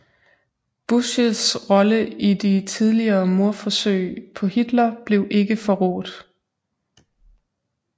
Bussches rolle i de tidligere mordforsøg på Hitler blev ikke forrådt